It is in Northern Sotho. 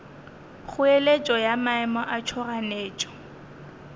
kgoeletšo ya maemo a tšhoganetšo